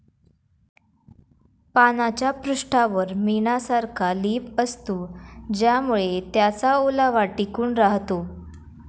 पानाच्या पृष्ठावर मेणासारखा लेप असतो ज्यामुळे त्याचा ओलावा टिकून राहतो.